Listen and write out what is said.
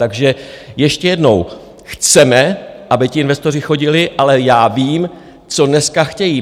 Takže ještě jednou: chceme, aby ti investoři chodili, ale já vím, co dneska chtějí.